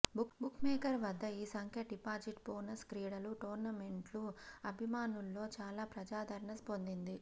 bookmaker వద్ద ఈ సంఖ్య డిపాజిట్ బోనస్ క్రీడలు టోర్నమెంట్లు అభిమానుల్లో చాలా ప్రజాదరణ పొందింది